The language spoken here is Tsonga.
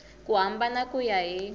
ku hambana ku ya hi